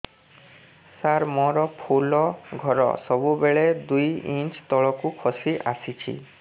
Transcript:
ସାର ମୋର ଫୁଲ ଘର ସବୁ ବେଳେ ଦୁଇ ଇଞ୍ଚ ତଳକୁ ଖସି ଆସିଛି